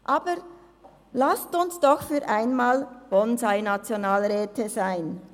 Aber lassen Sie uns doch für einmal Bonsai-Nationalräte sein.